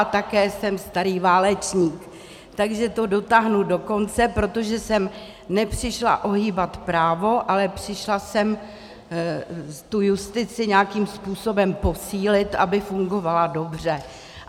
A také jsem starý válečník, takže to dotáhnu do konce, protože jsem nepřišla ohýbat právo, ale přišla jsem tu justici nějakým způsobem posílit, aby fungovala dobře.